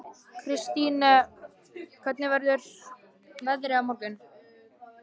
Kristine, hvernig verður veðrið á morgun?